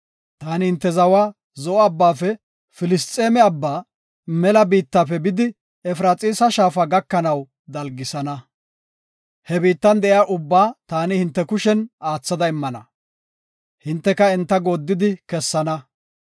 Taani hinte zawa Zo7o Abbaafe Filisxeeme Abbaa, mela biittafe bidi Efraxiisa Shaafa gakanaw dalgisana. He biittan de7iya ubbaa taani hinte kushen aathada immana; hinteka enta gooddidi kessana.